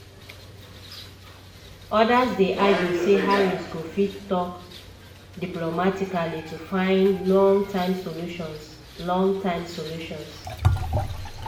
odas dey argue say harris go fit tok diplomatically to find long-term solutions. long-term solutions.